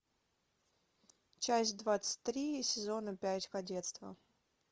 часть двадцать три сезона пять кадетство